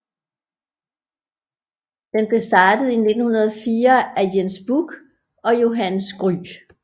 Den blev startet i 1904 af Jens Bukh og Johannes Gry